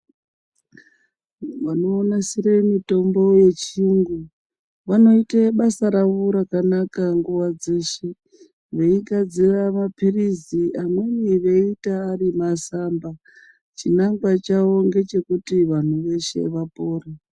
Vanonasire mitombo yechiyungu, vanoite basa ravo rakanaka nguva dzeshe, veigadzira maphirizi amweni veiita ari masamba. Chinangwa chavo ngechekuti vanhu veshe vapore.